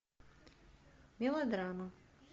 мелодрама